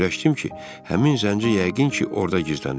Fikirləşdim ki, həmin zənci yəqin ki, orda gizlənir.